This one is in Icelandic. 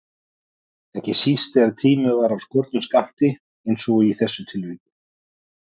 Ekki síst þegar tíminn var af skornum skammti einsog í þessu tilviki.